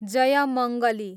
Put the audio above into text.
Jaymangali